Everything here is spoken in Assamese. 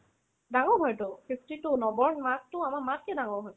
ডাঙৰ হয়তো fifty-two নৱ ৰ মাকতো আমাৰ মাতকে ডাঙৰ হয়